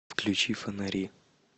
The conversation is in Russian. включи фонари